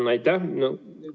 Aitäh!